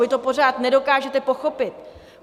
Vy to pořád nedokážete pochopit.